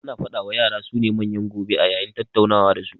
Ana faɗa wa yara su ne manyan gobe a yayin tattaunawa da su